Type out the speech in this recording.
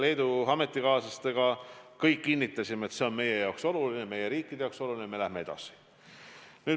Me kõik kinnitasime, et see on meie jaoks oluline, meie riikide jaoks oluline, ja me läheme edasi.